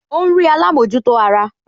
Ó ń rí alámòjútó ara